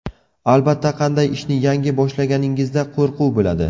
Albatta, qanday ishni yangi boshlaganingizda qo‘rquv bo‘ladi.